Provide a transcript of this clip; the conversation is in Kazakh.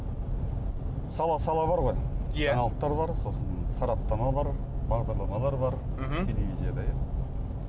сала сала бар ғой иә жаңалықтар бар сосын сараптама бар бағдарламалар бар мхм телевизияда иә